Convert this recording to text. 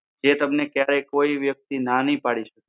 જે તમને ક્યારેય કોઈ વ્યક્તિ ના નહિ પડી શકે.